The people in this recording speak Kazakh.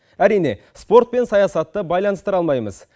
әрине спорт пен саясатты байланыстыра алмаймыз